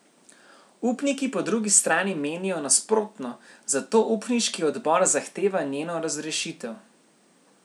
Upniki po drugi strani menijo nasprotno, zato upniški odbor zahteva njeno razrešitev.